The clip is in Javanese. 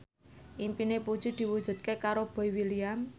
impine Puji diwujudke karo Boy William